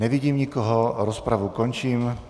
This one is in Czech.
Nevidím nikoho, rozpravu končím.